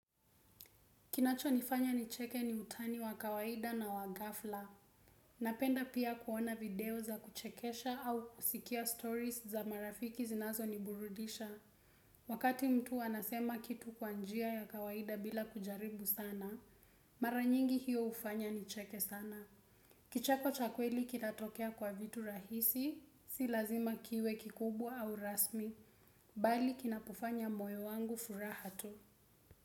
Kinacho nifanya nicheke ni utani wa kawaida na wagafla. Napenda pia kuona video za kuchekesha au kusikia stories za marafiki zinazo niburudisha. Wakati mtu anasema kitu kwa njia ya kawaida bila kujaribu sana, maranyingi hiyo hufanya nicheke sana. Kicheko cha kweli kinatokea kwa vitu rahisi, si lazima kiwe kikubwa au rasmi, bali kinapofanya moyo wangu furahatu.